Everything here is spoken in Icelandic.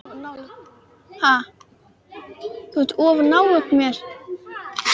Öryggi og eilífir draumar